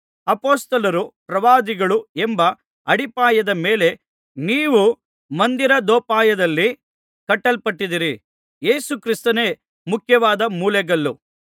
ಅಪೊಸ್ತಲರೂ ಪ್ರವಾದಿಗಳೂ ಎಂಬ ಅಡಿಪಾಯದ ಮೇಲೆ ನೀವೂ ಮಂದಿರದೋಪಾದಿಯಲ್ಲಿ ಕಟ್ಟಲ್ಪಟ್ಟಿದ್ದೀರಿ ಯೇಸು ಕ್ರಿಸ್ತನೇ ಮುಖ್ಯವಾದ ಮೂಲೆಗಲ್ಲು